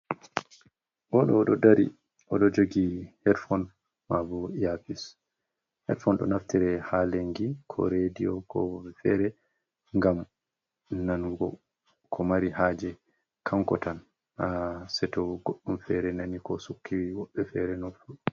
O ɗo o ɗo dari o ɗo jogi hedfon maabo yafis. hedfon ɗo naftire haa lenngi ko rediyo ko be feere ,ngam nanngo ko mari haaje kanko tan naa seeto goɗɗum feere nani ko sukki woɓɓe feere nofru.